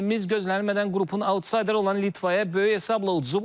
Millimiz gözlənilmədən qrupun autsayderi olan Litvaya böyük hesabla uduzub.